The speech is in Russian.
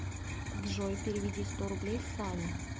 джой переведи сто рублей сане